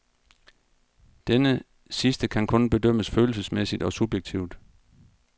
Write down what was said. Denne sidste kan kun bedømmes følelsesmæssigt og subjektivt.